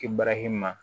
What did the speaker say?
I barahima